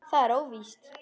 Það er óvíst.